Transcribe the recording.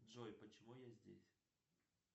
джой почему я здесь